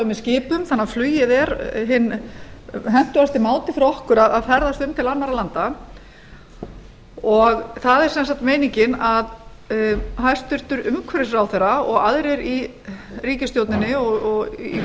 með skipum þannig að flugið er hinn hentugasti mál fyrir okkur að ferðast til annarra landa það er sem sagt meiningin að hæstvirtur umhverfisráðherra og aðrir í ríkisstjórninni og í